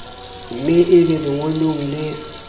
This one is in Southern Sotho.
me e be lengolong le